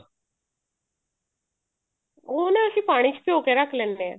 ਉਹ ਨਾ ਅਸੀਂ ਪਾਣੀ ਚ ਭਿਉ ਕੇ ਰੱਖ ਲੈਂਦੇ ਹਾਂ